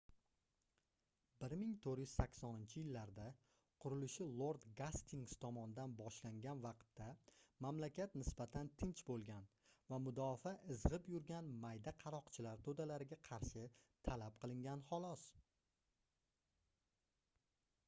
1480-yillarda qurilishi lord gastings tomonidan boshlangan vaqtda mamlakat nisbatan tinch boʻlgan va mudofaa izgʻib yurgan mayda qaroqchilar toʻdalariga qarshi talab qilingan xolos